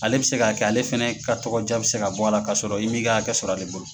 Ale bɛ se ka kɛ ale fɛnɛ ka tɔgɔja bɛ se ka bɔ a la ka sɔrɔ i 'mi ka hakɛ sɔrɔ ale bolo.